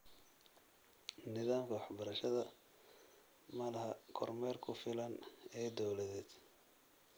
Nidaamka waxbarashada ma laha kormeer ku filan oo dowladeed.